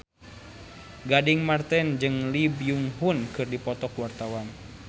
Gading Marten jeung Lee Byung Hun keur dipoto ku wartawan